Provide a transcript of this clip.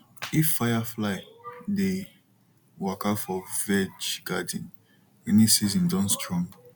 if firefly dey waka for veg garden rainy season don strong